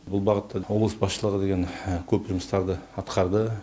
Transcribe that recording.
бұл бағытта облыс басшылығы деген көп жұмыстарды атқарды